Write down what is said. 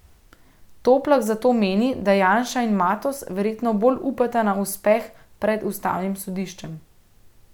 Toplak zato meni, da Janša in Matoz verjetno bolj upata na uspeh pred ustavnim sodiščem.